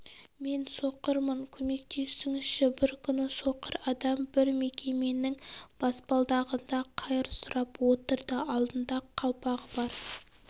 мен соқырмын көмектесіңізші бір күні соқыр адам бір мекеменің баспалдағында қайыр сұрап отырды алдында қалпағы бар